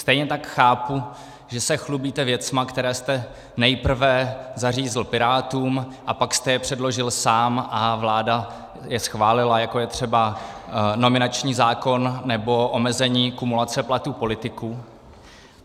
Stejně tak chápu, že se chlubíte věcmi, které jste nejprve zařízl Pirátům, a pak jste je předložil sám a vláda je schválila, jako je třeba nominační zákon nebo omezení kumulace platů politiků.